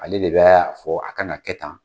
Ale de bɛ a fɔ a ka na kɛ tan.